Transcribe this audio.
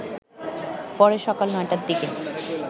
পরে সকাল ৯টারদিকে